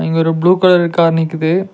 இங்க ஒரு blue colour car நிக்குது.